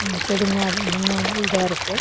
செடிங்க அது என்னமோ வந்து இதா இருக்கு.